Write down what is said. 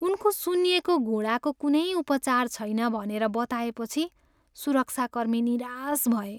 उनको सुन्निएको घुँडाको कुनै उपचार छैन भनेर बताएपछि सुरक्षाकर्मी निराश भए।